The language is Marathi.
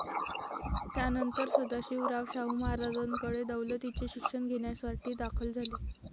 त्यानंतर सदाशिवराव शाहू महाराजांकडे दौलतीचे शिक्षण घेण्यासाठी दाखल झाले.